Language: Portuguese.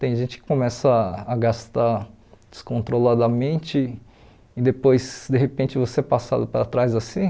Tem gente que começa a gastar descontroladamente e depois, de repente, você é passado para trás assim.